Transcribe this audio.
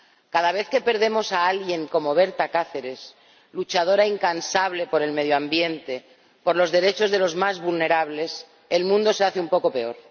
Cada vez que perdemos a alguien como Berta Cáceres —luchadora incansable por el medio ambiente, por los derechos de los más vulnerables—, el mundo se vuelve un poco peor.